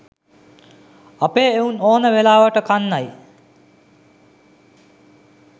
අපේ එවුන් ඕන වෙලාවට කන්නයි